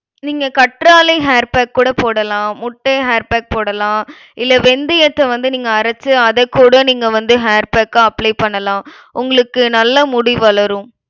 நீங்க கற்றாழை hair pack கூட போடலாம். முட்டை hair pack போடலாம். இல்ல வெந்தயத்தை வந்து நீங்க அரைச்சு அதக்கூட நீங்க வந்து hair pack ஆ apply பண்ணலாம். உங்களுக்கு நல்லா முடி வளரும்.